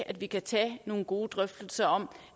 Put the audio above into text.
at vi kan tage nogle gode drøftelser om